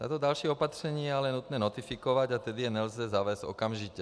Toto další opatření je ale nutné notifikovat, a tedy je nelze zavést okamžitě.